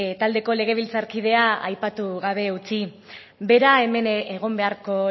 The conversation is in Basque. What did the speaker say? taldeko legebiltzarkidea aipatu gabe utzi bera hemen egon beharko